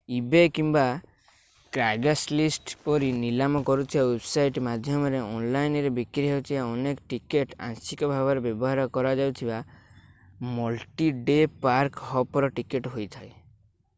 ebay କିମ୍ବା craigslist ପରି ନିଲାମ କରୁଥିବା ୱେବସାଇଟ୍ ମାଧ୍ୟମରେ ଅନଲାଇନରେ ବିକ୍ରି ହେଉଥିବା ଅନେକ ଟିକେଟ୍ ଆଂଶିକ ଭାବରେ ବ୍ୟବହାର କରାଯାଇଥିବା ମଲ୍ଟି-ଡେ ପାର୍କ-ହପର୍ ଟିକେଟ୍ ହୋଇଥାଏ